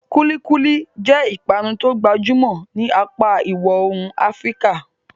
Kulikuli jẹ́ ìpanu tó gbajúmọ̀ ní apá ìwọ̀ oòrùn Afíríkà.